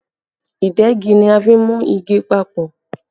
Ìdegi ni a fi n mú igi papọ̀